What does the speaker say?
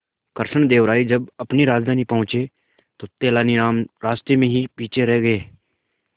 कृष्णदेव राय जब अपनी राजधानी पहुंचे तो तेलानीराम रास्ते में ही पीछे रह गए